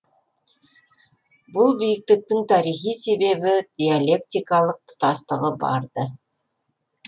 бұл биіктіктің тарихи себебі диалектикалық тұтастығы бар ды